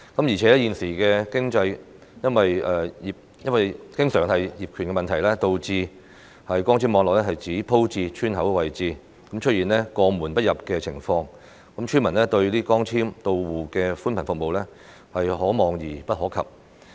而且，現時經常因為業權的問題，導致光纖網絡只鋪設至村口的位置，出現過門不入的情況，村民對光纖到戶的寬頻服務是可望而不可及。